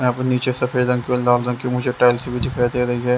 यहां पे नीचे सफ़ेद रंग की और लाल रंग की मुझे टाइल्स भी दिखाई दे रही है।